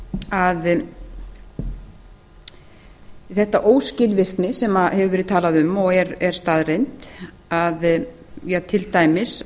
að þessi óskilvirkni sem hefur verið talað um og er staðreynd að til dæmis